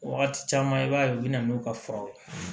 Wagati caman i b'a ye u bɛ na n'u ka furaw ye